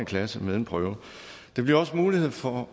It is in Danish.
klasse med en prøve der bliver også mulighed for